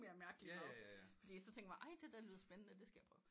Mere mærkelig mad fordi så tænker man ej det der lyder spændende det skal jeg prøve